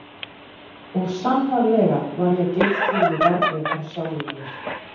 Og sannarlega var ég Geirþrúði verri en sjálfum mér.